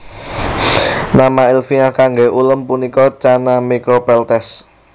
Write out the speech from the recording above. Nama ilmiah kangge ulam punika Channa micropeltes